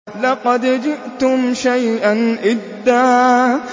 لَّقَدْ جِئْتُمْ شَيْئًا إِدًّا